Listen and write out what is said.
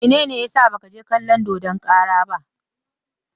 Mene ne ya sa ba ka je kalon dodon kara ba?